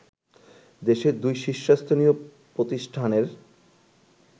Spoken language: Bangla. দেশের দুই শীর্ষস্থানীয় প্রতিষ্ঠানের